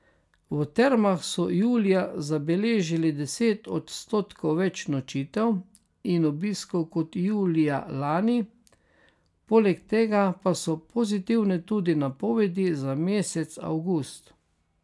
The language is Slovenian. V termah so julija zabeležili deset odstotkov več nočitev in obiskov kot julija lani, poleg tega pa so pozitivne tudi napovedi za mesec avgust.